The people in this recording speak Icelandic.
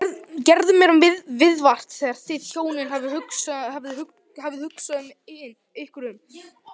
Gerðu mér viðvart, þegar þið hjónin hafið hugsað ykkur um.